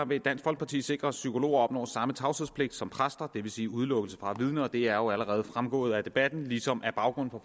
vil dansk folkeparti sikre at psykologer opnår samme tavshedspligt som præster det vil sige udelukkelse fra at vidne og det er jo allerede fremgået af debatten ligesom at baggrunden for